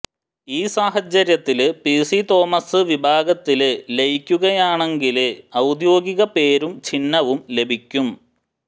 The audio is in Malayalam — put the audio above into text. ഈ സാഹചര്യത്തില് പിസി തോമസ് വിഭാഗത്തില് ലയിക്കുകയാണെങ്കില് ഔദ്യോഗിക പേരും ചിഹ്നവും ലഭിക്കും